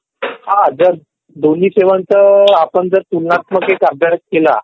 हा जर दोन्ही सेवांचा आपण जर तुलनात्मक अभ्यास केला